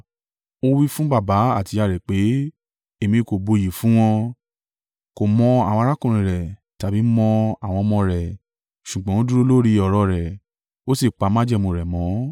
Ó wí fún baba àti ìyá rẹ pé, ‘Èmi kò buyì fún wọn.’ Kò mọ àwọn arákùnrin rẹ̀, tàbí mọ àwọn ọmọ rẹ̀, ṣùgbọ́n ó dúró lórí ọ̀rọ̀ rẹ̀, ó sì pa májẹ̀mú rẹ̀ mọ́.